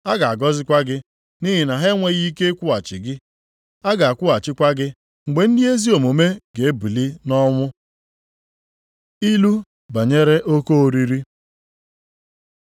A ga-agọzikwa gị, nʼihi na ha enweghị ike ịkwụghachi gị, a ga-akwụghachikwa gị mgbe ndị ezi omume ga-ebili nʼọnwụ.” Ilu banyere oke oriri